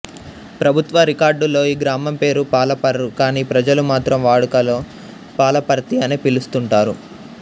ప్రభుత్వ రికార్డుల్లో ఈ గ్రామం పేరు పాలపర్రు కానీ ప్రజలు మాత్రం వాడుకలో పాలపర్తి అనే పిలుస్తుంటారు